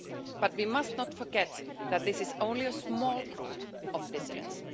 But we must not forget that this is only a small group of dissidents.